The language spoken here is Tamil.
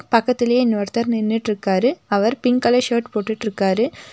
பக்கத்திலயே இன்னொருத்தர் நின்னுட்ருக்காரு அவர் பிங்க் கலர் ஷர்ட் போட்டுட்ருக்காரு.